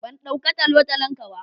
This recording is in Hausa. Ban dauka ta talotalon ka ba.